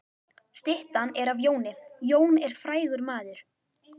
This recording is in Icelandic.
Styttan er af Jóni. Jón er frægur maður.